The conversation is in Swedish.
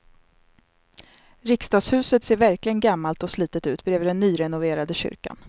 Riksdagshuset ser verkligen gammalt och slitet ut bredvid den nyrenoverade kyrkan.